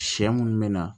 Sɛ minnu bɛ na